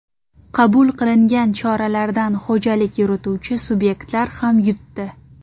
Qabul qilingan choralardan xo‘jalik yurituvchi subyektlar ham yutdi.